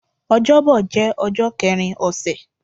Ọjọ́bọ̀ jẹ́ ọjọ́ kẹrin ọ̀sẹ̀